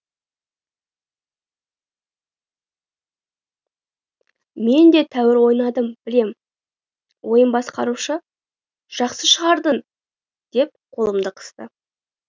мен де тәуір ойнадым білем ойын басқарушы жақсы шығардың деп қолымды қысты